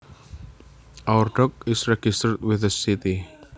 Our dog is registered with the city